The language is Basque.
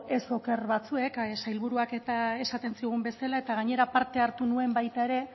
ez oker batzuek sailburuak eta esaten zigun bezala eta gainera parte hartu nuen baita ere